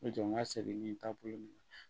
N'o tɛ n ka segin ni taabolo min na